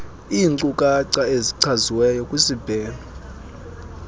inkcukacha ezichaziweyo kwisibheno